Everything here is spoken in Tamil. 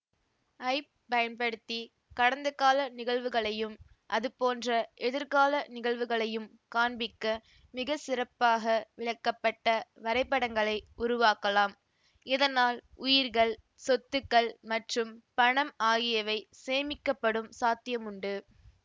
ஐப் பயன்படுத்தி கடந்தகால நிகழ்வுகளையும் அதுபோன்ற எதிர்கால நிகழ்வுகளையும் காண்பிக்க மிகச்சிறப்பாக விளக்கப்பட்ட வரைபடங்களை உருவாக்கலாம் இதனால் உயிர்கள் சொத்துக்கள் மற்றும் பணம் ஆகியவை சேமிக்கப்படும் சாத்தியமுண்டு